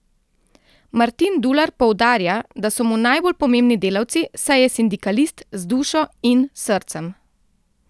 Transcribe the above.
Martin Dular poudarja, da so mu najbolj pomembni delavci, saj je sindikalist z dušo in srcem.